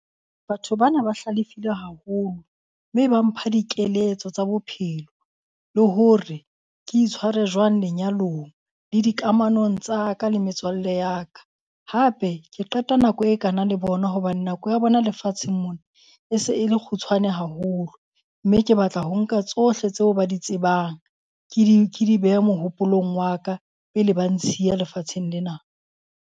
Batho bana ba hlalefile haholo, mme ba mpha dikeletso tsa bophelo. Le hore ke itshware jwang lenyalong le dikamanong tsa ka le metswalle ya ka. Hape ke qeta nako e kana le bona hobane nako ya bona lefatsheng mona e se e le kgutshwane haholo, mme ke batla ho nka tsohle tseo ba di tsebang. Ke di ke di behe mohopolong wa ka pele ba ntshia lefatsheng lena.